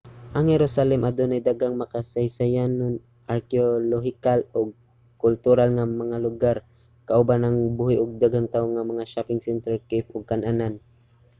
ang jerusalem adunay daghang makasaysayanon arkeolohikal ug kultural nga mga lugar kauban ang buhi ug daghang tawo nga mga shopping center cafe ug kan-anan